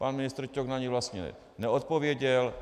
Pan ministr Ťok na ni vlastně neodpověděl.